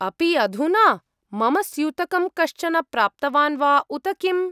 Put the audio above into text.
अपि अधुना? मम स्यूतकं कश्चन प्राप्तवान् वा उत किम्?